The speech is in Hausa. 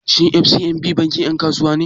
Shin FCMB bankin 'yan kasuwa ne?